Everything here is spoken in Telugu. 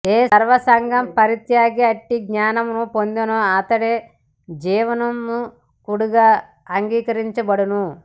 ఏ సర్వ సంగ పరిత్యాగి అట్టి జ్ఞానము పొందునో అతడే జీవన్ముక్తుడుగా అంగీకరించబడును